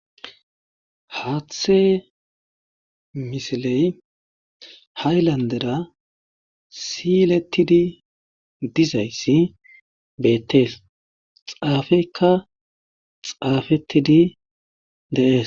Haaththe misile haylandera siiletidi dizayssi beetees. Xaafekka xaafetidi de'ees.